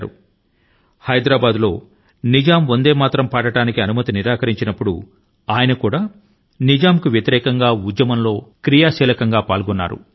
వందే మాతరమ్ పాడటానికి హైదరాబాద్ నిజాం నవాబు అనుమతి ని నిరాకరించినప్పుడు నిజాంకు వ్యతిరేకం గా సాగిన ఉద్యమం లో చురుకు గా పాల్గొన్నారు